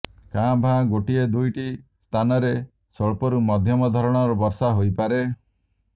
କାଁ ଭାଁ ଗୋଟିଏ ଦୁଇଟି ସ୍ଥାନରେ ସ୍ୱଳ୍ପରୁ ମଧ୍ୟମ ଧରଣର ବର୍ଷା ହୋଇପାରେ